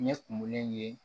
Ɲɛ kumunlen ye